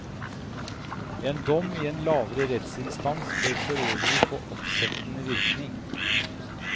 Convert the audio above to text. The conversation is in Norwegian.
En dom i en lavere rettsinstans bør forøvrig få oppsettende virkning.